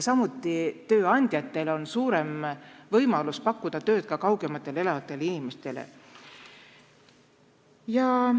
Samuti on tööandjatel suurem võimalus pakkuda tööd ka kaugemal elavatele inimestele.